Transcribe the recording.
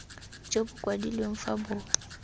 jo bo kwadilweng fa bo